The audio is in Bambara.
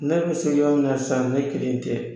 Ne ni CEDEAO na san ne kelen tɛ